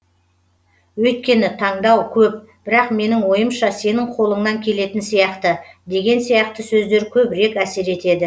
өйіткені таңдау көп бірақ менің ойымша сенің қолыңнан келетін сияқты деген сияқты сөздер көбірек әсер етеді